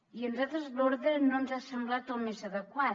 i a nosaltres l’ordre no ens ha semblat el més adequat